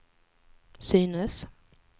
synes